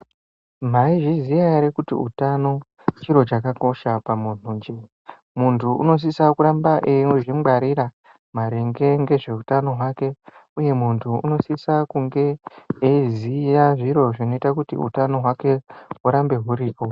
Maizviziya ere kuti utano, chiro chakakosha pamunhunje? Muntu unosisa kuramba eizvingwarira maringe ngezveutano hwake, uye muntu unosisa kunge, eiziya zviro zvinoita kuti utano hwake hurambe huripo.